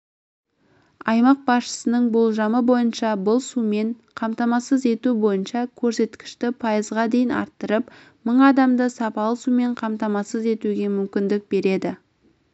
аймақ басшысының болжамы бойынша бұл сумен қамтамасыз ету бойынша көрсеткішті пайызға дейін арттырып мың адамды сапалы сумен қатмамасыз етуге мүмкіндік береді